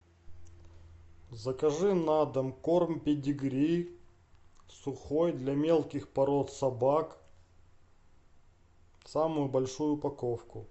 закажи на дом корм педигри сухой для мелких пород собак самую большую упаковку